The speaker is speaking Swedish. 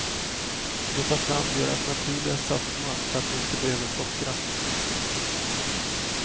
Det tar fram deras naturliga sötma så att du inte behöver sockra.